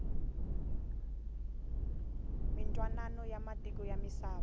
mintwanano ya matiko ya misava